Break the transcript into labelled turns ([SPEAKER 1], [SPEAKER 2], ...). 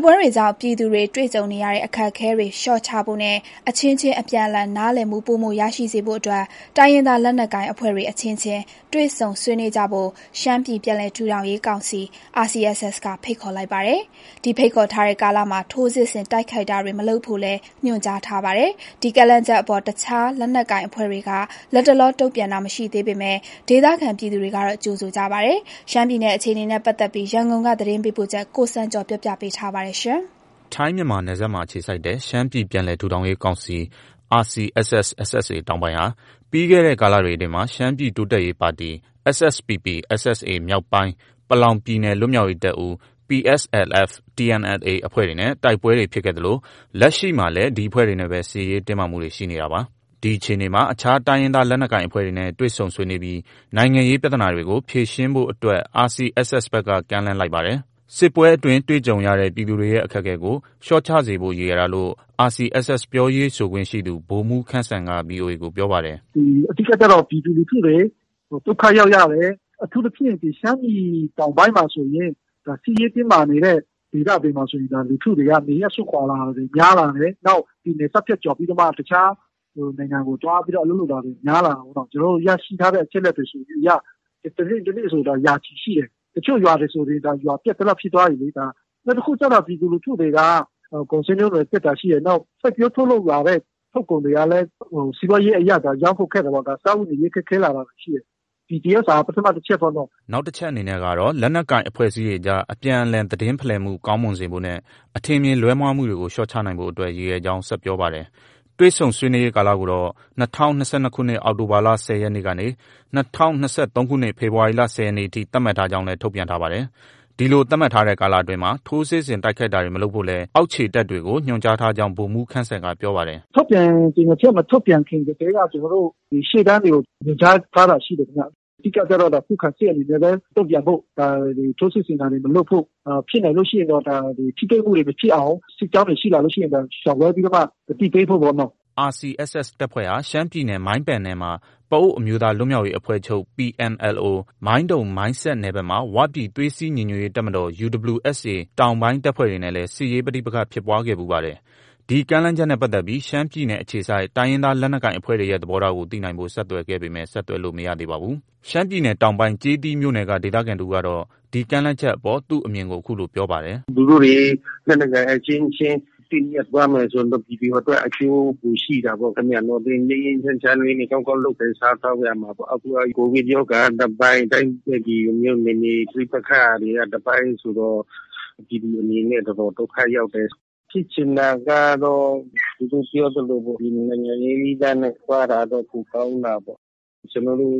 [SPEAKER 1] ်ပွဲတွေကြောင့် ပြည်သူတွေတွေ့ကြုံနေရတဲ့ အခက်အခဲတွေ လျှော့ချဖို့နဲ့ အချင်းချင်း အပြန်အလှန်နားလည်မှု ပိုမိုရရှိစေဖို့ တိုင်းရင်းသားလက်နက်ကိုင်အဖွဲ့တွေ အချင်းချင်းတွေ့ဆုံ ဆွေးနွေးကြဖို့ ရှမ်းပြည် ပြန်လည်ထူထောင်ရေး ကောင်စီ RCSS က ဖိတ်ခေါ်လိုက်ပါတယ်။ ဒီဖိတ်ခေါ်ထားတဲ့ကာလမှာ ထိုးစစ်ဆင် တိုက်ခိုက်တာတွေ မလုပ်ဖို့လည်း ညွှန်ကြားထားပါတယ်။ ဒီကမ်းလှမ်းချက်အပေါ် အခြားလက်နက်ကိုင်အဖွဲ့တွေက လတ်တလော တုံ့ပြန်တာမရှိသေးပေမယ့် ဒေသခံပြည် သူတွေကတော့ ကြိုဆိုကြပါတယ်။ ရှမ်းပြည်နယ်အခြေအနေ ရန်ကုန်ကလာတဲ့ သတင်းပေးပို့ချက်ကို ကိုစံကျော်က တင်ပြထားပါတယ်။
[SPEAKER 2] ထိုင်းမြန်မာနယ်စပ်အခြေစိုက်တဲ့ ရှမ်းပြည်ပြန်လည် ထူထောင်ရေး ကောင်စီ RCSS/SSA တောင်ပိုင်းဟာ ပြီးခဲ့တဲ့ကာလတွေအတွင်း ရှမ်းပြည်တိုးတက်ရေးပါတီ SSPP/SSA မြောက်ပိုင်း၊ ပလောင်ပြည်နယ် လွတ်မြောက်ရေးတပ်ဦး PSLF/TNLA အဖွဲ့တွေနဲ့ တိုက်ပွဲတွေဖြစ်ခဲ့သလို လက်ရှိမှာလည်း ဒီအဖွဲ့တွေနဲ့ စစ်ရေးတင်းမာမှုတွေ ရှိနေတာပါ။ ဒီအခြေအနေမှာ အခြားတိုင်းရင်းသားလက်နက်ကိုင်အဖွဲ့တွေနဲ့ တွေ့ဆုံဆွေးနွေးပြီး နိုင်ငံရေးပြဿနာတွေကို ဖြေရှင်းဖို့ RCSS ဘက်က ကမ်းလှမ်းလိုက်ပါတယ်။ စစ်ပွဲအတွင်း တွေ့ကြုံရတဲ့ ပြည်သူတွေရဲ့ အခက်အခဲကို လျော့ကျစေဖို့ ရည်ရွယ်တာလို့ RCSS ပြောရေးဆိုခွင့်ရှိသူ ဗိုလ်မှူးခမ်းစံက VOA ကို ပြောပါတယ်
[SPEAKER 3] ။ “ အဓိကကတော့ ပြည်သူလူထု ဒုက္ခရောက်ရတယ်။ အထူးသဖြင့် ရှမ်းပြည်တောင်ပိုင်း စစ်ရေးတင်းမာနေတဲ့ဒေသတွေမှာဆိုရင် လူထုက နေရပ်စွန့်ခွာတာတွေ များလာတယ်။ နောက် နယ်စပ်ဖြတ်ကျော်ပြီးမှ တခြား နိုင်ငံတွေမှာ သွားပြီးတော့ အလုပ်လုပ်တာပေါ့နော။ ကျနော်တို့ ရရှိထားတဲ့အချက်အလက်တွေအရ တနေ့ တနေ့ဆို ရာချီရှိတယ်။ တချို့ရွာတွေဆို ရွာပျက်သလောက်ဖြစ်သွားပြီ။ ဒါ ပြည်သူတွေအတွက် ပထမအချက်ပေါ့န
[SPEAKER 2] ော။ ” နောက်တချက်အနေနဲ့ကတော့ လက်နက်ကိုင်အဖွဲ့တွေကြား အပြန်အလှန် သတင်းဖလှယ်မှု ကောင်းမွန်စေဖို့နဲ့ အထင်အမြင်လွဲမှားတာတွေကို လျှော့ချနိုင်ဖို့ အတွက် ရည်ရွယ်ကြောင်း ဆက်ပြောပါတယ်။ တွေ့ဆုံဆွေးနွေးရေးကာလကိုတော့ ၂၀၂၂ ခုနှစ် အောက်တိုဘာလ ၁၀ ရက်နေ့ ကနေ ၂၀၂၃ ခုနှစ် ဖေဖော်ဝါရီလ ၁၀ ရက်နေ့အထိ သတ်မှတ်ထားကြောင်းလည်း ထုတ်ပြန်ထားပါတယ်။ ဒီလို သတ်မှတ်ထားတဲ့ကာလအတွင်း ထိုးစစ်ဆင် တိုက်ခိုက်တာတွေမလုပ်ဖို့ လည်း အောက်ခြေတပ်တွေကို ညွှန်ကြားထားကြောင်း ဗိုလ်မှူးခမ်းစံက ပြောပါတယ်။
[SPEAKER 3] “ ထုတ်ပြန်ကြေညာချက် မထုတ်ပြန်ခင်ကတည်းက ရှေ့တန်းတွေကို ညွှန်ကြားထားတာ ရှိတယ်ခင်ဗျ။ အဓိကကျတော့ ခုခံစစ်အနေနဲ့ပဲ တုံ့ပြန်ဖို့၊ ထိုးစစ်ဆင် တာတွေ မလုပ်ဖို့၊ ဖြစ်နိုင်လို့ ရှိရင်တော့ ထိတွေ့မှုမဖြစ်အောင် စစ်ကြောင်းတွေ ရှိလာရင်တောင် ရှောင်လွှဲပြီးမှ သတိပေးဖို့ပေါ့နော
[SPEAKER 2] ။ ” RCSS တပ်ဖွဲ့ဟာ ရှမ်းပြည်နယ် မိုင်းပန်နယ်မှာ ပအိုဝ်းအမျိုးသား လွတ်မြောက်ရေးအဖွဲ့ချုပ် PNLO ၊ မိုင်းတုံ၊ မိုင်းဆတ်နယ်ဘက်မှာ ဝပြည်သွေးစည်းညီညွတ်ရေးတပ်မတော် UWSA တောင်ပိုင်း တပ်ဖွဲ့တွေနဲ့လည်း ဒီကမ်းလှမ်းချက်နဲ့ပတ်သက်ပြီး ရှမ်းပြည်နယ်အခြေစိုက် တိုင်းရင်းသားလက်နက် ကိုင်အဖွဲ့တွေရဲ့ သဘောထားကို သိနိုင်ဖို့ ဆက်သွယ်ခဲ့ပေမယ့် ဆက်သွယ်လို့ မရသေးပါဘူး။ ရှမ်းပြည်နယ်တောင်ပိုင်း ကျေးသီးမြို့နယ်က ဒေသခံတဦးကတော့ ဒီကမ်းလှမ်းချက်အပေါ် သူ့အမြင်ကို အခုလို ပြောပါတယ်။ “ သူတို့တွေ လက
[SPEAKER 4] ်နက်ကိုင်အချင်းချင်း သင့်မြတ်သွားမယ်ဆိုရင်တော့ ပြည်သူအတွက် အကျိုးပိုရှိတာပေါ့။ ငြိမ်းငြိမ်းချမ်းချမ်းလေးနဲ့ ကောင်းကောင်းလုပ်ကိုင်စားသောက်ရမှာပေါ့။ အခုက ကိုဗစ်ရောဂါက တပိုင်း၊ ဒီလိုမျိုး တပိုင်းဆိုတော့ ပြည်သူအနေနဲ့ တော်တော် ဒုက္ခရောက်တယ်။ ဖြစ်ချင်တာကတော့ သူတို့ ပြောသလိုပေါ့။ နိုင်ငံရေးနည်းလမ်းနဲ့ သွားတာကတော့ ပိုကောင်းတာပေါ့။ ကျနော်တို့